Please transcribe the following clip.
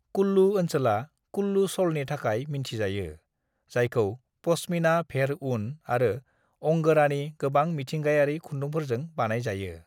"कुल्लु ओनसोला कुल्लु शलनि थाखाय मिन्थि जायो, जायखौ पश्मीना, भेड़-ऊन आरो अंगोरानि गोबां मिथिंगायारि खुन्दुंफोरजों बानाय जायो।"